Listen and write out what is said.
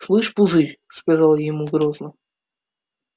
слышь пузырь сказала я ему грозно